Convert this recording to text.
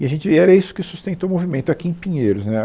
E a gente e era isso que sustentou o movimento aqui em Pinheiros né.